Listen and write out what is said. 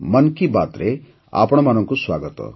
ମନ୍ କି ବାତ୍ରେ ଆପଣଙ୍କୁ ସ୍ୱାଗତ